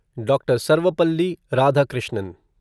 doctor Sarvepalli Radhakrishnan